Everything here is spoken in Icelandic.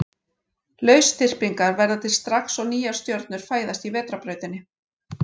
Lausþyrpingar verða til strax og nýjar stjörnur fæðast í Vetrarbrautinni.